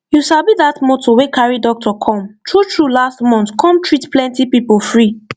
you sabi that motor wey carry doctor come truetrue last month come treat plenty people free